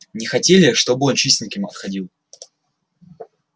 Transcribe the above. не хотели чтобы он чистеньким отходил